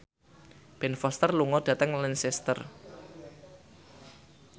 Ben Foster lunga dhateng Lancaster